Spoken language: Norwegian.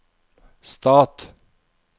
stat